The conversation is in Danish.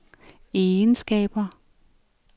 egenskaber